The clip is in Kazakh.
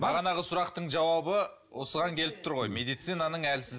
бағанағы сұрақтың жауабы осыған келіп тұр ғой медицинаның әлсіз